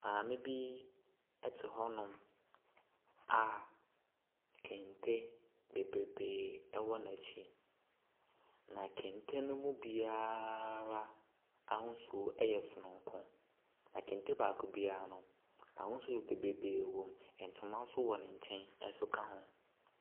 Maame bi ɛte hɔnom a kente bebrebee agu n’akyi. Na kente ne mu biara ahosuo ɛyɛ soronko. Na kente baako biara no, ahosuo bebrebee wɔm. Ntoma nso wɔ ne nkyɛn nso ka ho.